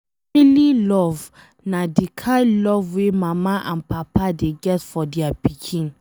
Family love na de kind love wey mama and papa dey get for dia pikin